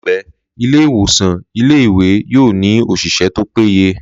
Láìpẹ́, ilé ìwòsàn ilé ìwé yóò ní òṣìṣẹ́ tó péye.